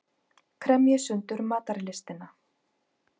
Kremji sundur matarlystina.